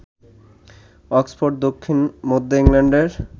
Oxford দক্ষিণ মধ্য ইংল্যান্ডের